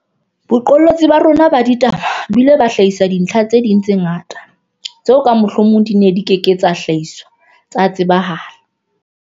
Boqolotsi bona ba rona ba ditaba bo ile ba hlahisa dintlha tse ding tse ngata tseo ka mohlomong di neng di ke ke tsa hlahiswa tsa tsebahala.